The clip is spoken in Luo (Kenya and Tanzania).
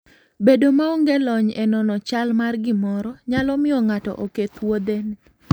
Bedo maonge lony e nono chal mar gimoro nyalo miyo ng'ato oketh wuodhene.